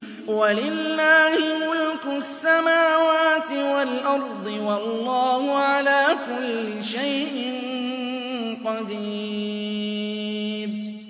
وَلِلَّهِ مُلْكُ السَّمَاوَاتِ وَالْأَرْضِ ۗ وَاللَّهُ عَلَىٰ كُلِّ شَيْءٍ قَدِيرٌ